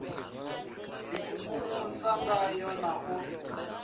d ikukumusa ngayo na u